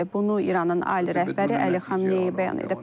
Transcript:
Bunu İranın ali rəhbəri Əli Xameneyi bəyan edib.